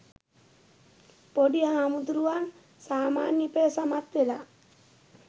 පොඩි හාමුදුරුවන් සාමාන්‍ය පෙළ සමත් වෙලා